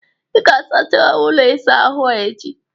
Ị ga-asachaịi ụlọ isa ahụ a echi!